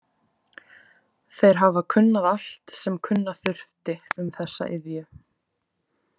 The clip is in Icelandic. Þeir hafa kunnað allt sem kunna þurfti um þessa iðju.